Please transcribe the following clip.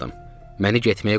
Məni getməyə qoymadı.